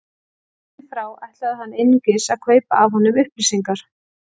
Héðan í frá ætlaði hann einungis að kaupa af honum upplýsingar.